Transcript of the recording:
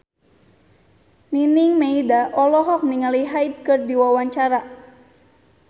Nining Meida olohok ningali Hyde keur diwawancara